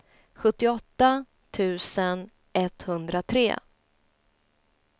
sjuttioåtta tusen etthundratre